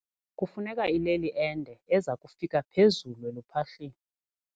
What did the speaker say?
Kufuneka ileli ende eza kufika phezulu eluphahleni.